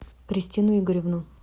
кристину игоревну